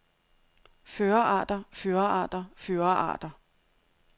fyrrearter fyrrearter fyrrearter